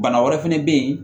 Bana wɛrɛ fɛnɛ bɛ ye